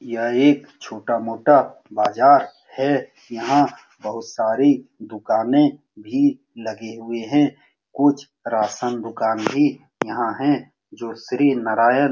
यह एक छोटा-मोटा बाज़ार है यहाँ बहुत सारी दुकाने भी लगी हुई हैं कुछ राशन दुकान भी यहाँ है जो श्री नारायण --